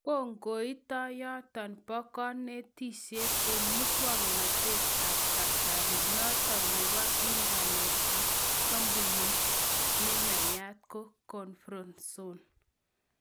Kokoitoyonoton bo konetishet en muswoknotet ab kasari noton nebo internet ak kampunit ne nayat ko Comfortzone